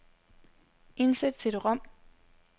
Indsæt cd-rom.